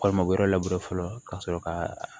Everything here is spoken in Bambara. Walima o yɔrɔ labure fɔlɔ ka sɔrɔ ka